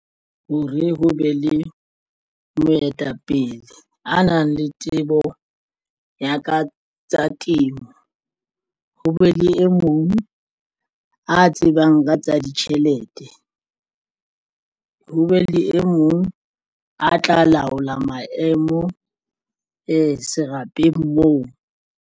Hore ho be le moetapele a nang le tsebo ya ka tsa temo ho be le e mong a tsebang ka tsa ditjhelete ho be le e mong a tla laola maemo e serapeng moo.